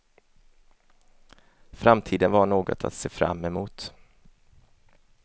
Framtiden var något att se fram emot.